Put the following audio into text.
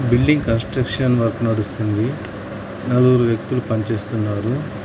Building construction work నడుస్తుంది నలుగురు వ్యక్తులు పని చేస్తున్నారు.